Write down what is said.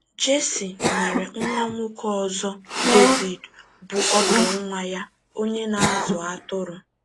Jesse nwere nwa nwoke ọzọ, Devid, bụ́ ọdụ nwa ya, onye “ na - azụ atụrụ. ”